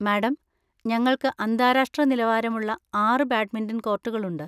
Madam, ഞങ്ങൾക്ക് അന്താരാഷ്ട്ര നിലവാരമുള്ള ആറ് ബാഡ്മിന്‍റൺ കോർട്ടുകളുണ്ട്.